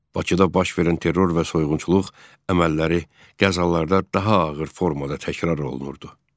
Bakıda baş verən terror və soyğunçuluq əməlləri qəzalarda daha ağır formada təkrar olunurdu.